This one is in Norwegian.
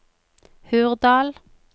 Hurdal